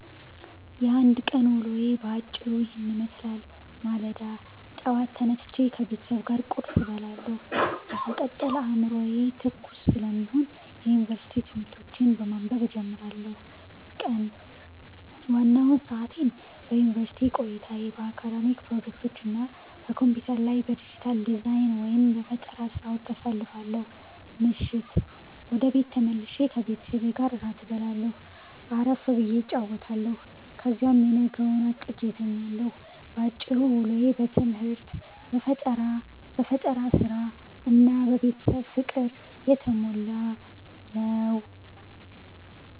የአንድ ቀን ውሎዬ በአጭሩ ይህንን ይመስላል፦ ማለዳ፦ ጠዋት ተነስቼ ከቤተሰብ ጋር ቁርስ እበላለሁ፤ በመቀጠል አዕምሮዬ ትኩስ ስለሚሆን የዩኒቨርሲቲ ትምህርቶቼን በማንበብ እጀምራለሁ። ቀን፦ ዋናውን ሰዓቴን በዩኒቨርሲቲ ቆይታዬ፣ በአካዳሚክ ፕሮጀክቶች እና በኮምፒውተር ላይ በዲጂታል ዲዛይን/በፈጠራ ሥራዎች አሳልፋለሁ። ምሽት፦ ወደ ቤት ተመልሼ ከቤተሰቤ ጋር እራት እበላለሁ፣ አረፍ ብዬ እጫወታለሁ፤ ከዚያም የነገውን አቅጄ እተኛለሁ። ባጭሩ፤ ውሎዬ በትምህርት፣ በፈጠራ ሥራ እና በቤተሰብ ፍቅር የተሞላ ነው።